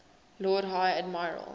lord high admiral